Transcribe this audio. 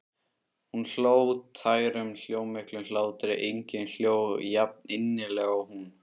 Hún hló, tærum, hljómmiklum hlátri, enginn hló jafninnilega og hún.